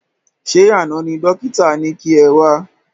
Ṣé àna ni dókítà ni kẹ wá?